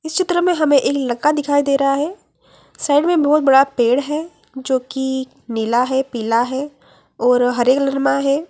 इस चित्र में हमे एक लड़का दिखाई दे रहा है साइड में बहुत बड़ा पेड़ है जोकि नीला है पीला है और हरे कलर मा है।